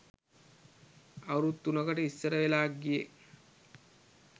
අවුරැදු තුනකට ඉස්සර වෙලා ගියේ